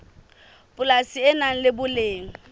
polasi le nang le boleng